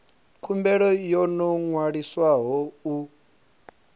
khumbelo yo no ṅwaliswaho u